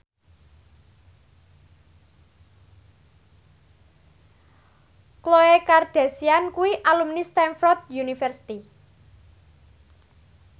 Khloe Kardashian kuwi alumni Stamford University